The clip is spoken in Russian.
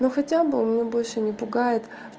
ну хотя бы он меня больше не пугает